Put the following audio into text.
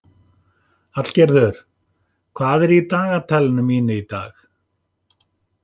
Hallgerður, hvað er í dagatalinu mínu í dag?